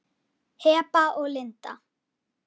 Heba og Linda.